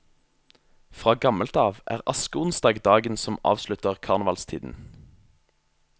Fra gammelt av er askeonsdag dagen som avslutter karnevalstiden.